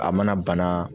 A mana bana